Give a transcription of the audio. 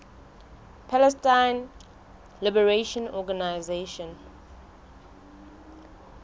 palestine liberation organization